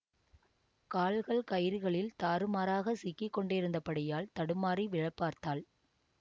கால்கள் கயிறுகளில் தாறுமாறாகச் சிக்கி கொண்டிருந்தபடியால் தடுமாறி விழப் பார்த்தாள்